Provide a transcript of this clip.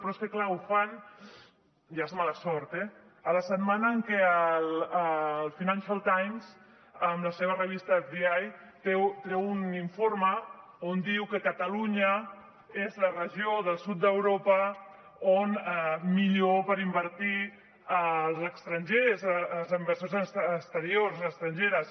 però és clar ho fan ja és mala sort la setmana en què el financial times amb la seva revista fdi treu un informe on diu que catalunya és la regió del sud d’europa que és millor per invertir els estrangers els inversors exteriors estrangers